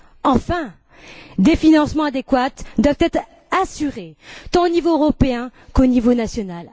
Enfin, des financements adéquats doivent être assurés tant au niveau européen qu'au niveau national.